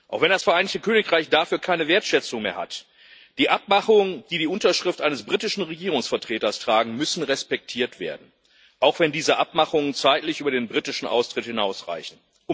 Auch wenn das Vereinigte Königreich dafür keine Wertschätzung mehr hat Die Abmachungen, die die Unterschrift eines britischen Regierungsvertreters tragen, müssen respektiert werden, auch wenn diese Abmachungen zeitlich über den britischen Austritt hinausreichen.